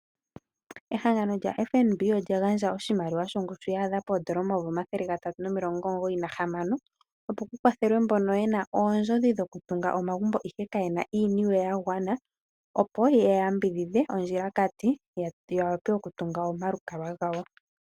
Ehangano lyaFNB olya gandja oshimaliwa shongushu ya adha poodola omayovi omathele gatatu nomilongo omugoyi na hamano, opo ku kwathelwe mbono ye na oondjodhi dhokutunga omagumbo ihe ka ye na iiniwe ya gwana, opo ye ya yambidhidhe ondjilakati, ya wape oku tunga omalukalwa gawo.